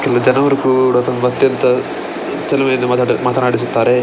ಇಲ್ಲಿ ಜನವರು ಕೂಡ ತುಂಬ ಅತ್ಯಂತ ಚೆಲುವೆಯಿಂದ ಮಾತಾಡಿಸುತ್ತಾರೆ.